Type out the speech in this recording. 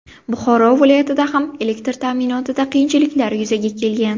Buxoro viloyatida ham elektr ta’minotida qiyinchiliklar yuzaga kelgan.